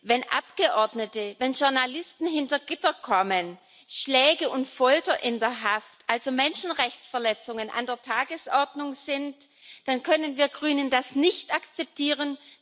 Wenn Abgeordnete, wenn Journalisten hinter Gitter kommen, Schläge und Folter in der Haft, also Menschenrechtsverletzungen, an der Tagesordnung sind, dann können wir Grünen das nicht akzeptieren.